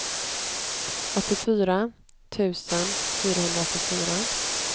åttiofyra tusen fyrahundraåttiofyra